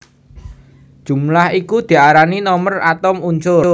Jumlah iku diarani nomer atom unsur